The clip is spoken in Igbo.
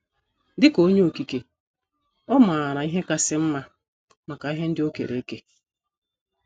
Dị ka Onye Okike, ọ maara ihe kasị mma maka ihe ndị o kere eke.